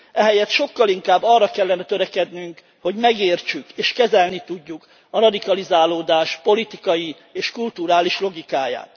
Ehelyett sokkal inkább arra kellene törekednünk, hogy megértsük és kezelni tudjuk a radikalizálódás politikai és kulturális logikáját.